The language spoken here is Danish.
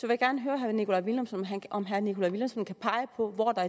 jeg gerne høre herre nikolaj villumsen om herre nikolaj villumsen kan pege på hvor der